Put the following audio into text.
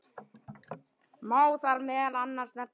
Má þar meðal annars nefna